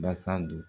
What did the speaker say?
Basa dun